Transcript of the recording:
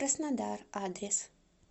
краснодар адрес